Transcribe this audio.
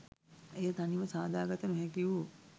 එය තනිව සාදා ගත නොහැකිවූ